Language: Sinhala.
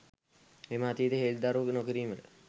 එම අතීතය හෙළිදරව් නොකිරීමට